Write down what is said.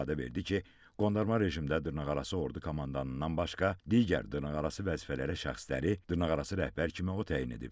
İfadə verdi ki, qondarma rejimdə dırnaqarası ordu komandanından başqa digər dırnaqarası vəzifələrə şəxsləri dırnaqarası rəhbər kimi o təyin edib.